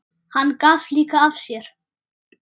Hann gaf líka af sér.